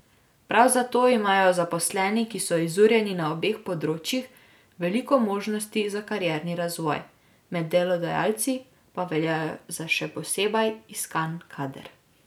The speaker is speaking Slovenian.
Prav zato imajo zaposleni, ki so izurjeni na obeh področjih, veliko možnosti za karierni razvoj, med delodajalci pa veljajo za še posebej iskan kader.